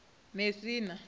mesina